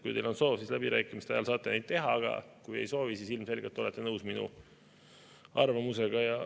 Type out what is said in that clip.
Kui teil on soov, siis läbirääkimiste ajal saate neid teha, aga kui ei soovi, siis ilmselgelt olete nõus minu arvamusega.